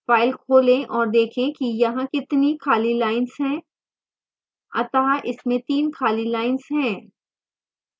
file खोलें और देखें कि यहाँ कितनी खाली lines हैं अतः इसमें 3 खाली lines हैं